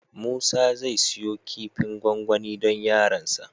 Musa zai siyo kifin gwangwani don yaransa.